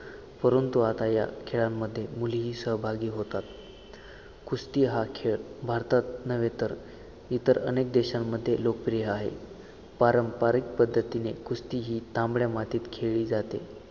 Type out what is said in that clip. परंतु आता या खेळामध्ये आता मुलीही सहभागी होतात कुस्ती हा खेळ भारतात नव्हे तर इतर अनेक देशांमध्ये लोकप्रिय आहे. पारंपारिक पध्दतीने कुस्ती ही तांबडया मातीत खेळली जाते.